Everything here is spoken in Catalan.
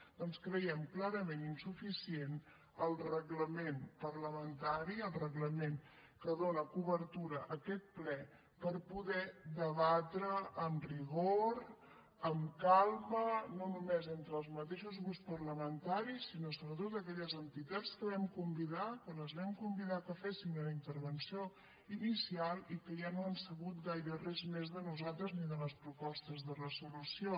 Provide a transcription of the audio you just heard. doncs creiem clarament insuficient el reglament parlamentari el reglament que dóna cobertura a aquest ple per poder debatre amb rigor amb calma no només entre els mateixos grups parlamentaris sinó sobretot aquelles entitats que vam convidar que les vam convidar que fessin una intervenció inicial i que ja no han sabut gaire res més de nosaltres ni de les propostes de resolució